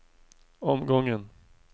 omgången